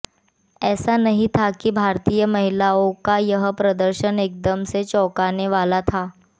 ऐसा नहीं था कि भारतीय महिलाओं का यह प्रदर्शन एकदम से चौंकाने वाला था